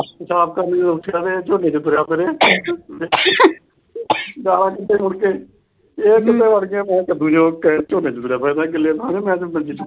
ਪਿਸ਼ਾਬ ਕਰਨ ਜਦੋਂ ਉਠਿਆ ਤੇ ਝੋਨੇ ਤੇ ਤੁਰਿਆ ਫਿਰੇ। ਤੇ ਮੁੜ ਕੇ ਝੋਨੇ ਚ ਤੁਰਿਆ ਫਿਰਦਾ ਗਿੱਲੀ ਥਾਵੇਂ ਮੰਜੀ ਚੁੱਕ ਕੇ।